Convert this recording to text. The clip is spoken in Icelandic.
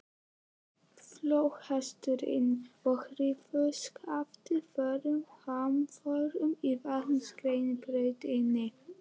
Flóðhesturinn og hrífuskaftið fóru hamförum í vatnsrennibrautinni.